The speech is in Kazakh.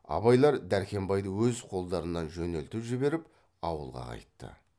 абайлар дәрхембайды өз қолдарынан жөнелтіп жіберіп ауылға қайтты